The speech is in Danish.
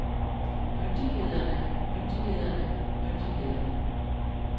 myndighederne myndighederne myndighederne